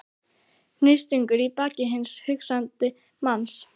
Hnífstungur í bak hins hugsandi manns.